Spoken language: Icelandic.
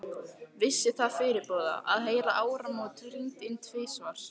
Vissi það fyrirboða, að heyra áramót hringd inn tvisvar.